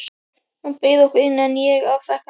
Hann bauð okkur inn, en ég afþakkaði.